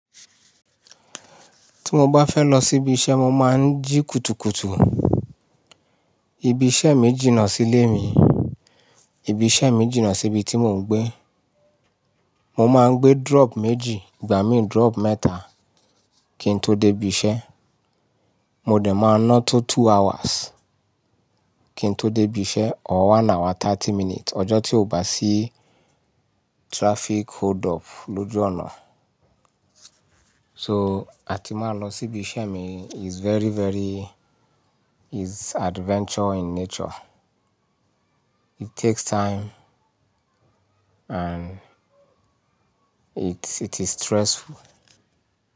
Tí mo bá fẹ́ lọ síbi iṣẹ́, mo máa ń jí kùtùkùtù. Ibi iṣẹ́ mi jìnnà sílé mi. Ibi iṣẹ́ mi jìnnà síbi tí mò ń gbé. Mo máa ń gbé drop méjì, ìgbà mí drop mẹ́ta kí n tó dé ibi iṣẹ́. Mo dẹ̀ máa ná tó two hours kí n tó dé ibi iṣẹ́, or one hour thirty minutes, ọjọ́ tí ò bá sí traffic hold up lójú ọ̀nà. So, àti máa lọ síbi iṣẹ́ mi is very, very-- is adventure in nature. It takes time and it, it is stressful.